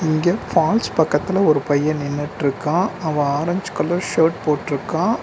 இங்க பால்ஸ் பக்கத்துல ஒரு பைய நின்னுட்ருக்கா அவ ஆரஞ்சு கலர் ஷர்ட் போட்ருக்கா.